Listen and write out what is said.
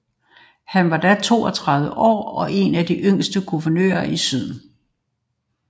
Han var da 32 år og én af de yngste guvernører i syden